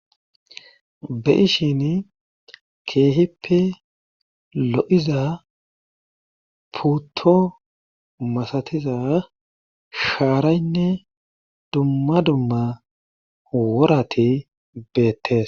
be7ishin keehippe lo7iza puto masatiza shaaraynne dumma dumma worati beettes.